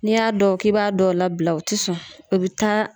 N'i y'a dɔn k'i b'a dɔw labila , u ti sɔn u bi taa